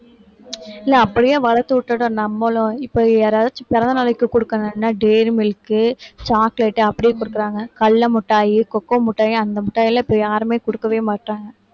இல்லை அப்படியே வளர்த்து விட்டுடணும் நம்மளும் இப்ப யாராச்சும் பிறந்த நாளைக்கு கொடுக்கணும்னா dairy milk chocolate அ அப்படியே கொடுக்குறாங்க கடலை மிட்டாய் cocoa மிட்டாய் அந்த மிட்டாய்லாம் இப்ப யாருமே கொடுக்கவே மாட்டாங்க